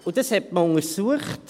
Das hat man untersucht.